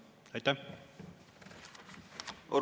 Aitäh!